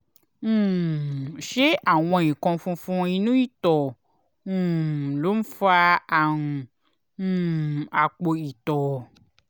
um ṣé àwọn nǹkan funfun inú ìtọ̀ um ló ń fa àrùn um àpò ìtọ̀?